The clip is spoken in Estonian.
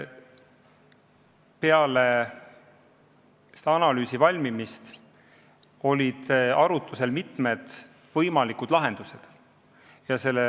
Peale selle analüüsi valmimist olid arutlusel mitmed võimalikud lahendused.